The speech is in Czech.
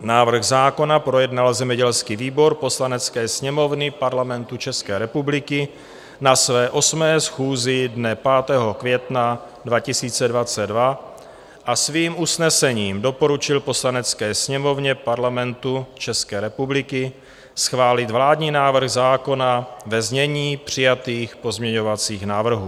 Návrh zákona projednal zemědělský výbor Poslanecké sněmovny Parlamentu České republiky na své 8. schůzi dne 5. května 2022 a svým usnesením doporučil Poslanecké sněmovně Parlamentu České republiky schválit vládní návrh zákona ve znění přijatých pozměňovacích návrhů.